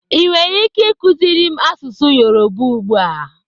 Ị nwere ike ịkụziri m asụsụ Yoruba ugbu a?